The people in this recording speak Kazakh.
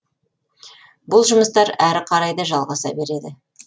бұл жұмыстар әрі қарай да жалғаса береді